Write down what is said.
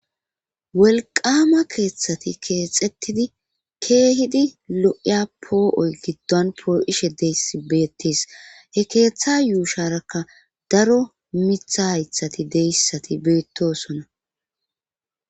wolqama keeththati keexettidi keehidi lo7iya poo7oy giddon poo7ishe deyssi beettis he keeththa yuusharakka daro mitha haythati deyssati beettosona